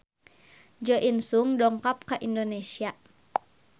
Jo In Sung dongkap ka Indonesia